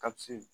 Kasi